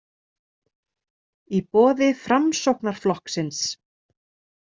Í boði Framsóknarflokksins.